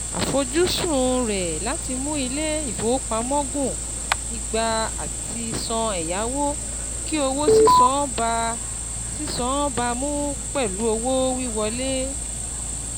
Àfojúsùn rẹ láti mú ilé-ìfowópamọ́ gùn ìgbà àtisàn ẹ̀yáwó kí owó sísan bá sísan bá mu pẹ̀lú owó wíwọlé.